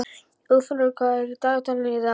Úlfheiður, hvað er í dagatalinu í dag?